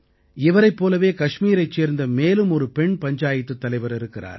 இவரைப் போலவே கஷ்மீரைச் சேர்ந்த மேலும் ஒரு பெண் பஞ்சாயத்துத் தலைவர் இருக்கிறார்